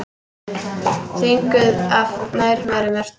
Þvinguð af nærveru Mörtu.